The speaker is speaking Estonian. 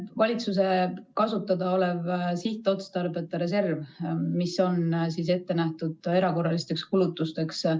Valitsuse kasutada on sihtotstarbeta reserv, mis on ette nähtud erakorralisteks kulutusteks.